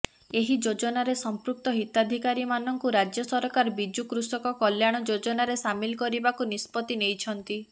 ଏହି ଯୋଜନାରେ ସଂପୃକ୍ତ ହିତାଧିକାରୀମାନଙ୍କୁ ରାଜ୍ୟ ସରକାର ବିଜୁ କୃଷକ କଲ୍ୟାଣ ଯୋଜନାରେ ସାମିଲ କରିବାକୁ ନିଷ୍ପତ୍ତି ନେଇଛନ୍ତି